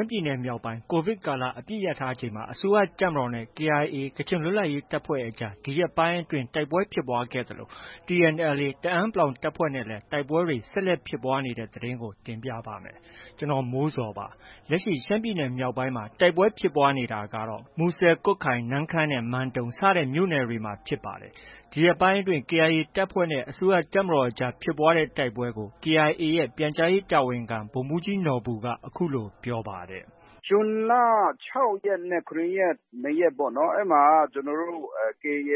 မ်းပြည်နယ်မြောက်ပိုင်းမှာ COVID ကာလ အပစ်ရပ်ကြေညာထားချိန်မှာ အစိုးရတပ်မတော်နဲ့ KIA ကချင်လွတ်လပ်ရေးတပ်ဖွဲ့အကြား ဒီရက်ပိုင်းအတွင်း တိုက်ပွဲ ဖြစ်ပွားခဲ့သလို TNLA တအာင်း တပ်ဖွဲ့နဲ့လည်း တိုက်ပွဲတွေ ဆက်လက်ဖြစ်ပွားနေတဲ့သတင်းကို ဗွီအိုအေမြန်မာပိုင်း သတင်းထောက် ကိုမိုးဇော်က တင်ပြပေးပါမယ်။ လက်ရှိ ရှမ်းပြည်နယ်မြောက်ပိုင်းမှာ တိုက်ပွဲဖြစ်ပွားနေတာကတော့ မူဆယ်၊ ကွတ်ခိုင်၊ နမ့်ခမ်းနဲ့ မန်တုံ စတဲ့မြို့နယ်တွေမှာဖြစ်ပါတယ်။ ဒီရက်ပိုင်းအတွင်း KIA တပ်ဖွဲ့နဲ့ အစိုးရတပ်မတော်အကြား ဖြစ်ပွားတဲ့ တိုက်ပွဲကိုတော့ KIA ရဲ့ ပြန်ကြားရေးတာဝန်ခံ ဗိုလ်မှူးကြီးနော်ဘူက အခုလို ပြောပါတယ်။ “ဇွန်လ ၆ ရက်နဲ့ ၇ ရက်ပေါ့နော်။ အဲဒီမှာ ကျနော်တို့ KIA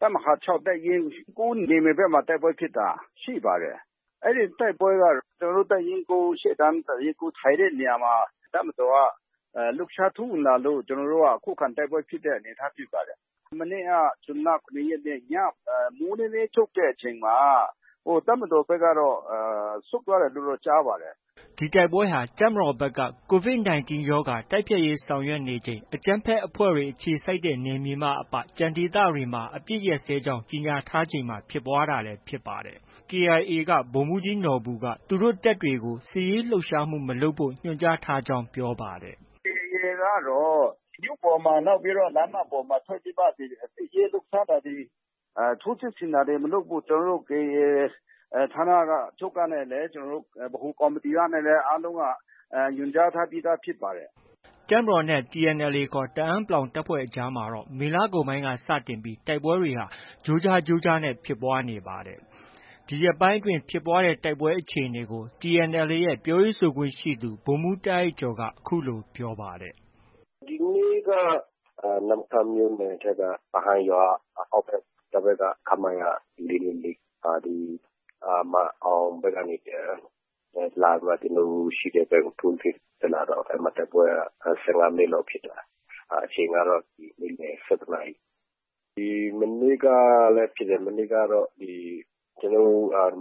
တပ်မဟာ ၆၊ တပ်ရင်း ၉ နယ်မြေဘက်မှာ တိုက်ပွဲဖြစ်တာ ရှိပါတယ်။ အဲဒီတိုက်ပွဲက ကျနော်တို့ တပ်ရင်း ၉ ရှေ့တန်းတပ်ရင်း ထိုင်တဲ့နေရာမှာ တပ်မတော်က လှုပ်ရှားထိုးဝင်လာလို့ ကျနော်တို့က ခုခံတိုက်ပွဲဖြစ်တဲ့အနေအထားဖြစ်ပါတယ်။ မနေ့က ဇွန်လ ၇ ရက်နေ့ ည မိုးနည်းနည်းချုပ်တဲ့အချိန်မှာ တပ်မတော်ဘက်ကတော့ ဆုတ်သွားတယ်လို့တော့ ကြားပါတယ်။” ဒီတိုက်ပွဲဟာ တပ်မတော်ဘက်က COVID - 19 ရောဂါ တိုက်ဖျက်ရေးဆောင်ရွက်နေချိန် အကြမ်းဖက်အဖွဲ့တွေ အခြေစိုက်တဲ့နယ်မြေမှအပ ကျန်ဒေသတွေမှာ အပစ်အခတ်ရပ်စဲကြောင်း ကြေညာထားချိန်မှာ ဖြစ်ပွားတာလည်း ဖြစ်ပါတယ်။ KIA က ဗိုလ်မှူးကြီးနော်ဘူက သူတို့တပ်တွေကို စစ်ရေးလှုပ်ရှားမှု မလုပ်ဖို့ ညွှန်ကြားထားကြောင်း ပြောပါတယ်။ “KIA ကတော့ မြို့ပေါ်မှာ၊ နောက်ပြီး လမ်းမပေါ်မှာထွက်မှ ဒီ စစ်ရေး လှုပ်ရှားတာတွေ၊ ထိုးစစ်ဆင်တာတွေ မလုပ်ဖို့ ကျနော်တို့ ဌာနချုပ်ကနဲ့ ကျနော်တို့ ဗဟိုကော်မတီကနဲ့လည်း အားလုံးက ညွှန်ကြားထားပြီး သားဖြစ်ပါတယ်။” တပ်မတော်နဲ့ TNLA ခေါ် တအာင်း တပ်ဖွဲ့အကြားမှာတော့ မေလကုန်ပိုင်းက စတင်ပြီး တိုက်ပွဲတွေဟာ ကြိုကြားကြိုကြားနဲ့ ဖြစ်ပွားနေတာပါ။ ဒီရက်ပိုင်းအတွင်း ဖြစ်ပွားတဲ့တိုက်ပွဲအခြေအနေကို TNLA ရဲ့ ပြောရေးဆိုခွင့်ရှိသူ ဗိုလ်မှူး တာအိုက်ကျော်က အခုလို ပြောပါတယ်။ “ဒီနေ့က နမ့်ခမ်းမြို့နယ်ထဲက တာဟန်ရွာအောက်ဘက် တိုက်ပွဲဖြစ်တယ်။ တပ်ဘက်က ဒီ ခမရ ၄၂၄ က ဒီ မန်အောင်ဘက်ကနေ လာပြီးမှ ကျနော်တို့ ရှိတဲ့ဘက်ကို ထိုးစစ်တက်လာတော့ အဲဒီမှာ တိုက်ပွဲက ၁၅ မိနစ်လောက် ဖြစ်သွားတယ်။ အချိန်က နေ့လယ် ၁၁ နာရီ။ မနေ့ကလည်း ဖြစ်တယ်။ မနေ့ကတော့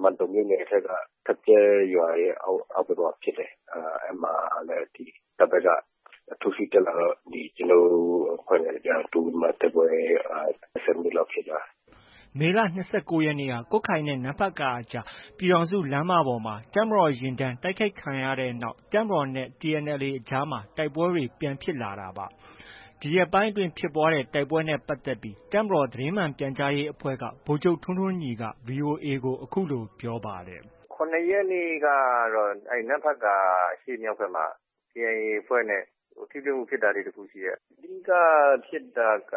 မန်တုံမြို့နယ်အထက်က ထပ်ကျဲရွာရဲ့အောက်ဘက်မှာ။ အဲဒီမှာလည်း တပ်ဘက်က ထိုးစစ်တက်လာတော့ ကျနော်တို့ အဖွဲ့နဲ့ တိုးမိပြီးတိုက်ပွဲ ၁၀ မိနစ်လောက်ဖြစ်သွားတာ။” မေလ ၂၉ ရက်နေ့က ကွတ်ခိုင်နဲ့ နမ့်ဖတ်ကာအကြား ပြည်ထောင်စုလမ်းမပေါ်မှာ တပ်မတော်ယာဉ်တန်း တိုက်ခိုက်ခံရတဲ့နောက် တပ်မတော်နဲ့ TNLA အကြား တိုက်ပွဲပြန်ဖြစ်လာတာဖြစ်ပါတယ်။ ဒီရက်ပိုင်းအတွင်း ဖြစ်ပွားတဲ့ တိုက်ပွဲတွေနဲ့ပတ်သက်ပြီး တပ်မတော် သတင်းမှန်ပြန်ကြားရေးအဖွဲ့က ဗိုလ်ချုပ်ထွန်းထွန်းညီက VOA ကို အခုလို ပြောပါတယ်။ “၇ ရက်နေ့ကတော့ နမ့်ဖတ်ကာအရှေ့မြောက်ဘက်မှာ KIA အဖွဲ့နဲ့ ထိတွေ့မှုဖြစ်တာလေး တစ်ခု ရှိပါတယ်။ အဓိက ဖြစ်တာက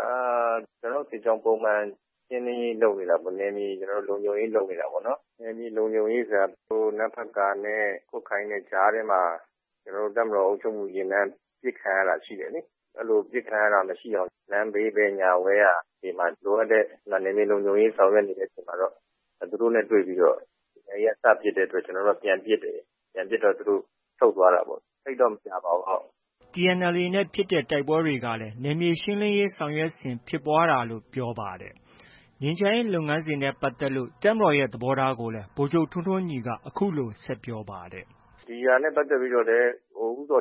ကျနော်တို့ စစ်ကြောင်း ပုံမှန် ရှင်းလင်းရေးလုပ်နေတာပေါ့။ နယ်မြေလုံခြုံရေးလုပ်နေတာပေါ့။ နယ်မြေလုံခြုံရေးဆိုတာ နမ့်ဖတ်ကာနဲ့ ကွတ်ခိုင်နဲ့ ကြားထဲမှာ ကျနော်တို့ တပ်မတော် အုပ်ချုပ်မှုယာဉ်တန်းပစ်ခံရတာ ရှိတယ်လေ။ အဲလို ပစ်ခံရတာမရှိအောင် လမ်းဘေး ဘယ်ညာ ဝဲယာ လိုအပ်တဲ့ နယ်မြေလုံခြုံရေးဆောင်ရွက်နေတဲ့အချိန်မှာတော့ သူတို့နဲ့ တွေ့ပြီးတော့ KIA က စပစ်တဲ့အတွက် ကျနော်တို့ ပြန်ပစ်တယ်။ အဲတော့ သူတို့ ဆုတ်သွားတာပေါ့ သိပ်တော့ မကြာပါဘူး။” TNLA နဲ့ ဖြစ်တဲ့ တိုက်ပွဲတွေကလည်း နယ်မြေရှင်းလင်းရေး ဆောင်ရွက်စဉ်ဖြစ်ပွားတာဖြစ်ကြောင်းပြောပါတယ်။ ငြိမ်းချမ်းရေးလုပ်ငန်းစဉ်နဲ့ ပတ်သက်လို့ တပ်မတော်ရဲ့ သဘောထားကိုလည်း ဗိုလ်ချုပ်ထွန်းထွန်းညီက အခုလို ဆက်ပြောပါတယ်။ “ဒီဟာနဲ့ပတ်သက်ပြီး ဦးဇော်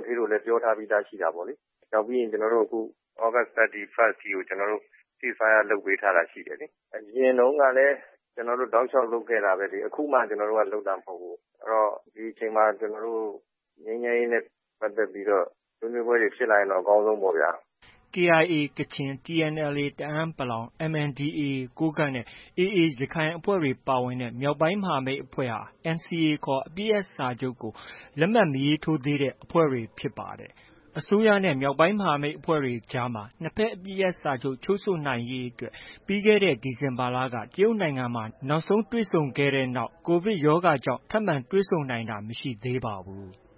ဌေးတို့လည်း ပြောထားပြီးသားရှိတာပေါ့လေ။ နောက်ပြီးရင် ကျနော်တို့ သြဂုတ် ၃၁ အထိကို ကျနော်တို့ Cease-fire လုပ်ပေးထားတာရှိတယ်လေ။ အရင်တုံးကလည်း ကျနော်တို့ တောက်လျောက်လုပ်တာပဲလေ။ အခုမှ လုပ်တာမဟုတ်ဘူး။ အဲတော့ ဒီအချိန်မှာ ငြိမ်းချမ်းရေးနဲ့ပတ်သက်ပြီးတော့ ဆွေးနွေးပွဲတွေ ဖြစ်လာရင်တော့ အကောင်းဆုံးပေါ့ဗျာ။” KIA ကချင်၊ TNLA တအာင်း ၊ MNDAA ကိုးကန့်နဲ့ AA ရခိုင်အဖွဲ့တွေ ပါဝင်တဲ့ မြောက်ပိုင်းမဟာမိတ်အဖွဲ့ဟာ NCA ခေါ် အပစ်ရပ်စာချုပ် လက်မှတ်မရေးထိုးရသေးတဲ့ အဖွဲ့တွေဖြစ်ပါတယ်။ အစိုးရနဲ့ မြောက်ပိုင်းမဟာမိတ်အဖွဲ့တွေအကြားမှာ နှစ်ဘက် အပစ်ရပ်စာချုပ် ချုပ်ဆိုနိုင်ရေးအတွက် ပြီးခဲ့တဲ့ ဒီဇင်ဘာလက တရုတ်နိုင်ငံမှာ နောက်ဆုံးတွေ့ဆုံခဲ့ပြီးနောက် COVID ကပ်ရောဂါကြောင့် ထပ်မံ တွေ့ဆုံနိုင်တာ မရှိသေးပါဘူး။